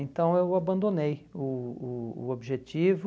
Então, eu abandonei o o o objetivo.